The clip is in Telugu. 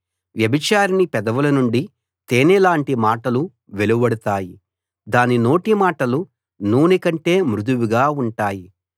వ్యభిచారిణి పెదవుల నుండి తేనెలాంటి మాటలు వెలువడతాయి దాని నోటి మాటలు నూనె కంటే మృదువుగా ఉంటాయి